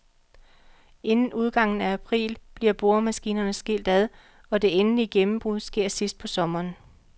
Inden udgangen af april bliver boremaskinerne skilt ad, og det endelige gennembrud sker sidst på sommeren.